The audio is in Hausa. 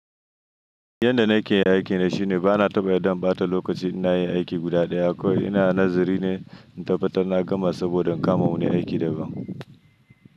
Yanda nake yi aiki ne shine bana taɓa damɓata lokaci in nayi aiki guda daya akwai. Ina nazari ne in tabbatar na gama saboda kama wani aiki daga baya.